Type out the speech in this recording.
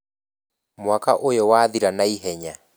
Mwaka ũyũ wathira naihenya